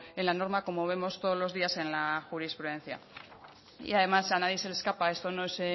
en la norma como vemos todos los días en la jurisprudencia y además a nadie se le escapa esto no es